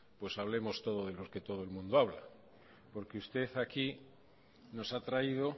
pues hablemos todos de lo que todo el mundo habla porque usted aquí nos ha traído